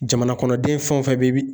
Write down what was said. Jamanakɔnɔden fɛn o fɛn bɛ